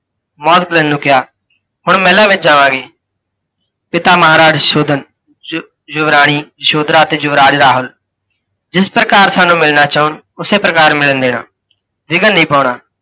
ਨੂੰ ਕਿਹਾ, ਹੁਣ ਮਹਿਲਾਂ ਵਿੱਚ ਜਾਵਾਂਗੇ। ਪਿਤਾ ਮਹਾਰਾਜ ਸੁਸ਼ੋਧਨ, ਯੁ ਯੁਵਰਾਣੀ ਯਸ਼ੋਧਰਾ ਅਤੇ ਯੁਵਰਾਜ ਰਾਹੁਲ, ਜਿਸ ਪ੍ਕਾਰ ਸਾਨੂੰ ਮਿਲਣਾ ਚਾਹੁਣ ਉਸੇ ਪ੍ਕਾਰ ਮਿਲਣ ਦੇਣਾ, ਵਿਘਣ ਨਹੀਂ ਪਾਉਣਾ।